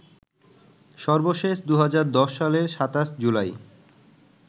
সর্বশেষ ২০১০ সালের ২৭ জুলাই